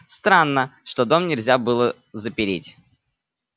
странно что дом нельзя было запереть